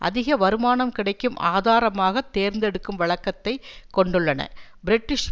அதிக வருமானம் கிடைக்கும் அகதாரமாகத் தேர்ந்தெடுக்கும் வழக்கத்தை கொண்டுள்ளன பிரிட்டிஷ்